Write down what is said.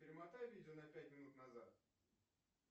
перемотай видео на пять минут назад